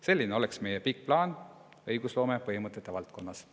Selline oleks meie pikk plaan õigusloome põhimõtete valdkonnas.